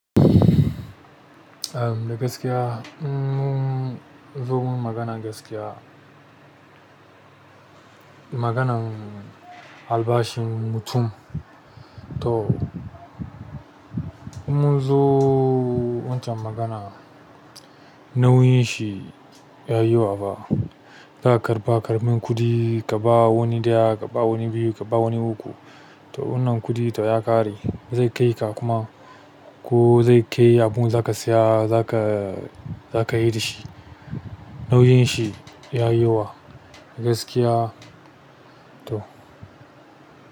Tunda gaskiya in mun zo muyi maganan gaskiya. Maganan albashin mutum to in mun zo wancan magana nauyin shi ya yi wa fa. Za ka karɓa ƙaramin kuɗi ka ba wani ɗaya, ka ba wani biyu, ka ba wani uku. To wannan kuɗi to ya ƙare zai kai ka kuma ko zai kai abun za ka siya za ka yi dashi nauyin shi ya yi yawa gaskiya to.